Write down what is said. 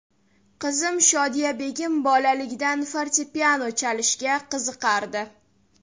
Qizim Shodiyabegim bolaligidan fortepiano chalishga qiziqardi.